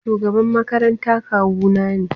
Shugaban makaranta kawuna ne.